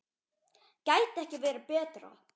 Gæti ekki verið betra.